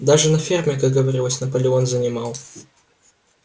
даже на ферме как говорилось наполеон занимал